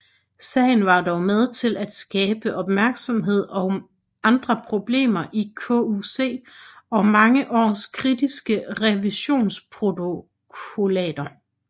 Sagen var dog med til at skabe opmærksomhed om andre problemer i KUC og mange års kritiske revisionsprotokollater